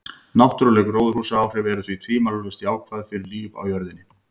Náttúruleg gróðurhúsaáhrif eru því tvímælalaust jákvæð fyrir líf á jörðinni.